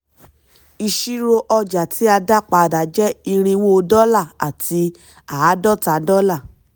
ìṣirò ọjà tí a dá padà jẹ́ irínwó dọ́là àti àádọ́ta dọ́là.